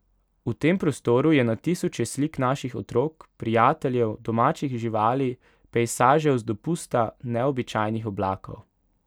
V tem prostoru je na tisoče slik naših otrok, prijateljev, domačih živali, pejsažev z dopusta, neobičajnih oblakov ...